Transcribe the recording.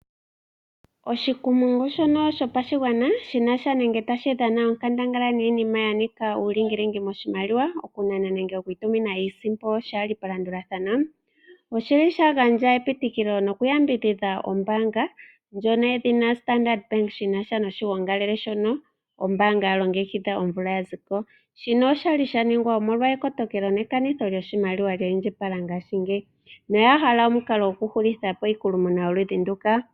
Oshikumungu shono shopashigwana shina sha nenge tashi dhana onkandangala niinima ya ninga uulingilingi moshimaliwa, okunana nenge okutumina iisimpo shaali palandulathano, oshili sha gandja epitikilo nokuyambidhidha ombaanga ndjono yedhina Standard bank , shina sha noshiyongalele shono ombaanga ya longekidha omvuka ya ziko, shino oshali sha ningwa omolwa ekotokelo nekanitho lyoshimaliwa lya indjipala ngashiingeyi na oya hala omukalo gwokuhulithapo iikulumuna yoludhi nduka.